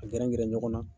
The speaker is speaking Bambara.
A gɛrɛ gɛrɛ ɲɔgɔn na